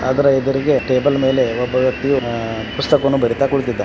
ಅದರ ಎದರಿಗೆ ಟೇಬಲ್ ಮೇಲೆ ಒಬ್ಬ ವ್ಯಕ್ತಿಯು ಪುಸ್ತಕವನ್ನು ಬರೀತಾ ಕುಳಿತಿದ್ದಾನೆ.